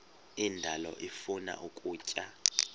indalo ifuna ukutya